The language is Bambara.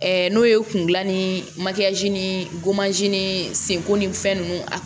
n'o ye kun gilan ni ni gomanzi ni senko ni fɛn nunnu a